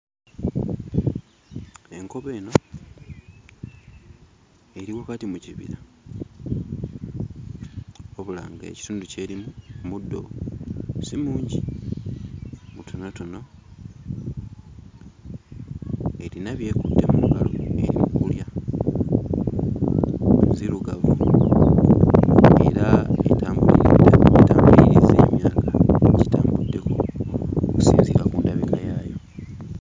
Enkobe eno eri wakati mu kibira wabula ng'ekitundu ky'erimu muddo si mungi, mutonotono. Erina by'ekutte mu ngalo by'ekutte mu ngalo by'eri mu kulya. Nzirugavu era etambulirizza emyaka, gitambuddeko okusinziira ku ndabika yaayo.